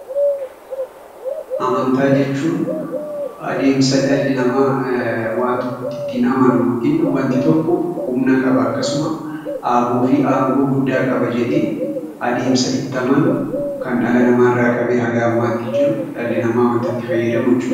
Amantaa jechuun adeemsa dhalli namaa waan tokkotti ittiin amanu yookiin wanti tokko humna qaba, akkasuma aboo fi aangoo guddaa qaba jedhee adeemsa itti amanu kan dhala namaa irraa qabee haga ammaatti jiru dhalli namaa wanta itti fayyadamu jechuu dha.